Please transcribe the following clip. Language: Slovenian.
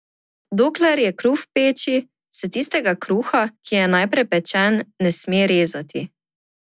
Dokler je kruh v peči, se tistega kruha, ki je najprej pečen, ne sme rezati.